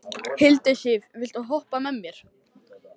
Hildisif, viltu hoppa með mér?